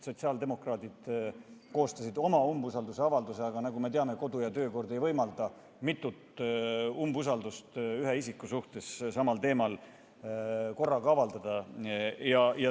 Sotsiaaldemokraadid koostasid oma umbusaldusavalduse, aga nagu me teame, ei võimalda kodu- ja töökorra seadus mitut ühe isiku suhtes samal teemal korraga esitada.